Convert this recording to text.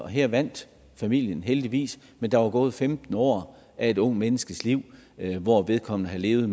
her vandt familien heldigvis men der var gået femten år af et ungt menneskes liv hvor vedkommende havde levet